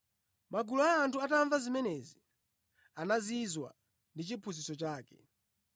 Magulu a anthu atamva zimenezi, anazizwa ndi chiphunzitso chake.